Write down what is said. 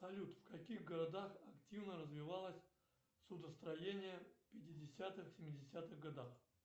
салют в каких городах активно развивалось судостроение в пятидесятых семидесятых годах